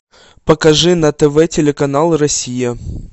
покажи на тв телеканал россия